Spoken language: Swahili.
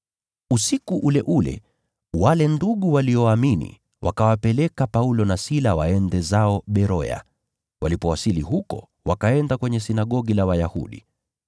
Usiku ule ule, wale ndugu walioamini wakawapeleka Paulo na Sila waende zao Beroya. Walipowasili huko wakaenda kwenye sinagogi la Wayahudi.